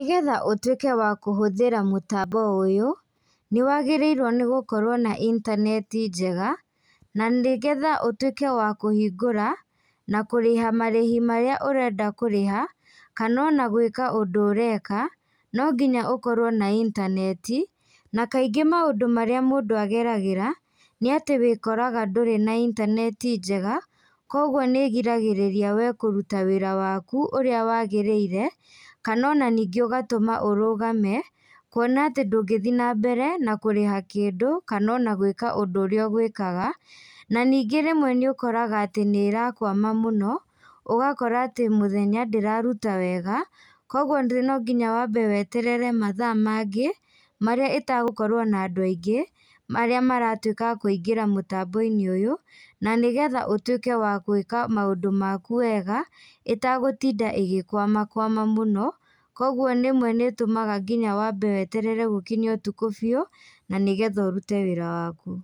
Nĩgetha ũtuĩke wakũhũthĩra mũtambo ũyũ, nĩ wagĩrĩirũo nĩ gũkorwo na intaneti njega. Na nĩgetha ũtuĩke wa kũhingũra na kũrĩha marĩhi marĩa ũrenda kũrĩha kana ona gwĩka ũndũ ũreka, no nginya ũkorũo na intaneti. Na kaingĩ maũndũ marĩa mũndũ ageragĩra nĩ atĩ wĩkoraga ndũrĩ na intaneti njega, kwoguo nĩ ĩgiragĩrĩria we kũruta wĩra waku ũrĩa wagĩrĩire, kana ona ningĩ ũgatũma ũrũgame. Kwona atĩ ningĩ ndũngĩthiĩ na mbere na kũrĩha kĩndũ kana ona gwĩka ũndũ ũrĩa ũgwĩkaga. Na ningĩ rĩmwe nĩ ũkoraga atĩ nĩ ĩrakwama mũno, ũgakora atĩ mũthenya ndĩraruta wega, kwoguo no nginya weterere mathaa mangĩ marĩa ĩtegũkorwo na andũ aingĩ marĩa maratuĩka a kũingĩra mũtambo-inĩ ũyũ. Na nĩgetha ũtuĩke wa gwĩka maũndũ maku wega ĩtagũtinda ĩgĩkwamakwama mũno. Kwoguo rĩmwe nĩ ĩtũmaga nginya wambe weterere gũkinye ũtukũ biũ na nĩgetha ũrute wĩra waku.